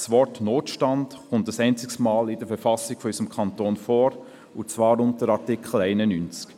Das Wort «Notstand» kommt in der Verfassung unseres Kantons ein einziges Mal vor, und zwar im Artikel 91: